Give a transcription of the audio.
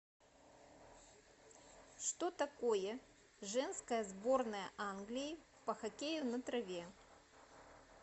что такое женская сборная англии по хоккею на траве